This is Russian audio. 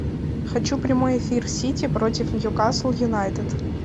хочу прямой эфир сити против ньюкасл юнайтед